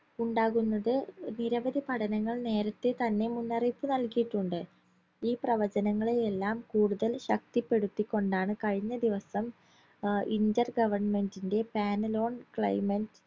ഉണ്ടാകുന്നത് നിരവധി പഠനങ്ങൾ നേരത്തെ തന്നെ മുന്നറിയിപ്പ് നൽകിയിട്ടുണ്ട് ഈ പ്രവചനങ്ങളെയെല്ലാം കൂടുതൽ ശക്തിപ്പെടുത്തി കൊണ്ടാണ് കഴിഞ്ഞദിവസം അഹ് inter government ന്റെ panel on climate